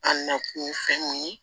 An nakun ye fɛn mun ye